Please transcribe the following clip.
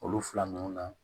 Olu fila ninnu na